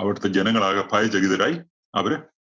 അവിടുത്തെ ജനങ്ങളാകെ ഭയചകിതരായി അവര്